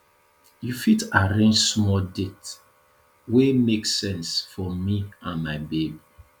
you fit arrange small date wey make sense for me and my babe